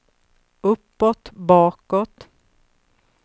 uppåt bakåt